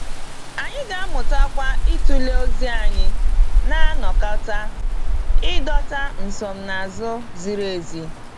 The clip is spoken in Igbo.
Anyị ga-amụtakwa ịtụle ozi anyị na-anakọta, ịdọta nsonaazụ ziri ezi.